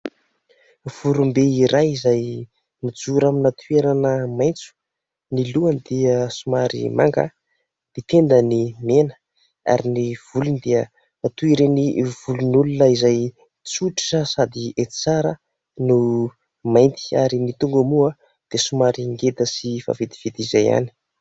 Vorombe iray izay mijoro amina toerana maitso ny lohany dia somary manga, ny tendany mena ary ny volony dia toy ireny volon'olona izay tsotra sady hety tsara no mainty ary ny tongony moa dia somary ngeda sy vaventiventy izay ihany.